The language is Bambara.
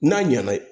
N'a ɲɛna